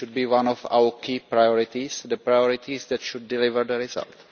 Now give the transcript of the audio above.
It should be one of our key priorities the priorities that should deliver the result.